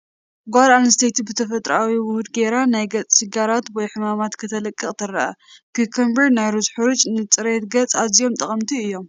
ሓንቲ ጓል ኣነስተይቲ ብተፈጥራኣዊ ውሁድ ጌራ ናይ ገፃ ሽግራት ወይ ሕማማት ክተልቅቅ ትረአ፡፡ ኩኮምበርን ናይ ሩዝ ሕሩጭን ንፅሬት ገፅ ኣዝዮም ጠቐምቲ እዮም፡፡